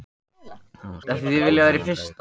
Hann var skíthræddur við þennan draug.